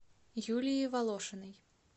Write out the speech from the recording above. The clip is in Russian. юлии волошиной